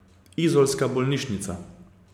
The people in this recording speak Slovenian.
Izolska bolnišnica.